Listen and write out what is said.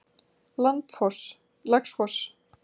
Laxfoss